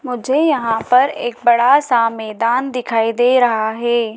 मुझे यहां पर एक बड़ा सा मैदान दिखाई दे रहा है।